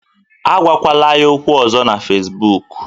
Agwakwala ya okwu ọzọ na Facibụkụ